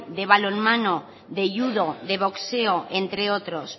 de balonmano de judo de boxeo entre otros